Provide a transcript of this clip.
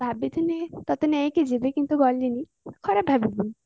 ଭାବିଥିଲି ତତେ ନେଇକି ଯିବି କିନ୍ତୁ ଗଲିନି ଖରାପ ଭାବିବୁନି